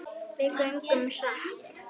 Við göngum hratt.